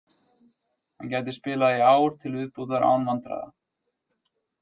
Hann gæti spilað í ár til viðbótar án vandræða.